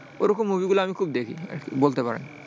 ওরকম movie গুলো আমি খুব দেখি, বলতে পারেন।